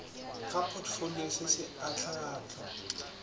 ga potfolio se se ahlaahlwa